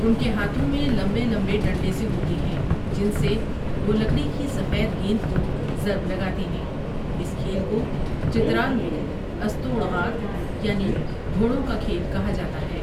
ان کے ہاتھوں میں لمبے لمبے ڈنڈے سے ہوتے ہیں جن سے وہ لکڑی کی سفید گیند کو ضرب لگاتے ہیں اس کھیل کو چترال میں استوڑ غاڑ یعنی گھوڑوں کا کھیل کہا جاتا ہے ۔